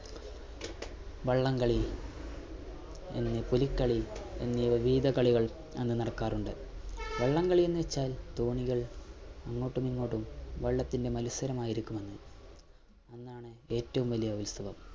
വള്ളം കളി, പുലിക്കളി എന്നീ വിവിധ കളികൾ അന്ന് നടക്കാറുണ്ട്. വള്ളം കളി എന്ന് വച്ചാൽ തോണികൾ അങ്ങോട്ടും ഇങ്ങോട്ടും വള്ളത്തിന്റെ മത്സരമായിരിക്കും അന്ന് അന്നാണ് ഏറ്റവും വലിയ ഉത്സവം.